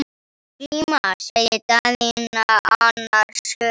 Glíma, sagði Daðína annars hugar.